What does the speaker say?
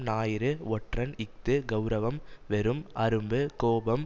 ஞாயிறு ஒற்றன் இஃது கெளரவம் வெறும் அரும்பு கோபம்